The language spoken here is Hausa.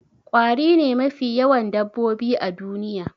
Ƙwari ne mafi yawan dabbobi a duniya